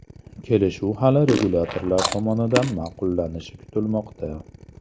Kelishuv hali regulyatorlar tomonidan ma’qullanishi kutilmoqda.